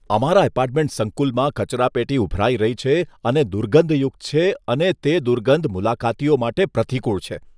અમારા એપાર્ટમેન્ટ સંકુલમાં કચરાપેટી ઉભરાઈ રહી છે અને દુર્ગંધયુક્ત છે અને તે દુર્ગંધ મુલાકાતીઓ માટે પ્રતિકૂળ છે.